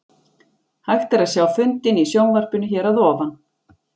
Hægt er að sjá fundinn í sjónvarpinu hér að ofan.